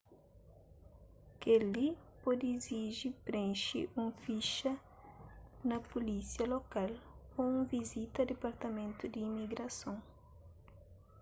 kel-li pode iziji prenxe un fixa na pulísia lokal ô un vizita a dipartamentu di imigrason